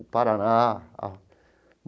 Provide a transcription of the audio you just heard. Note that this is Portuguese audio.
O Paraná a.